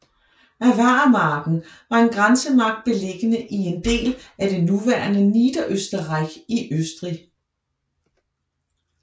Avarermarken var en grænsemark beliggende i en del af det nuværende Niederösterreich i Østrig